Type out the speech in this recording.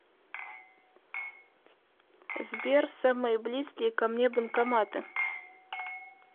сбер самые близкие ко мне банкоматы